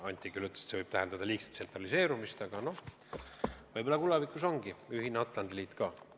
Anti küll ütles, et see võib tähendada liigset tsentraliseerumist, aga võib-olla tulevikus ongi ühine Atlandi liit ka.